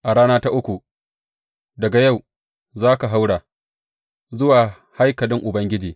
A rana ta uku daga yau za ka haura zuwa haikalin Ubangiji.